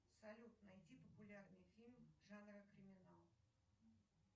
салют найди популярный фильм жанра криминал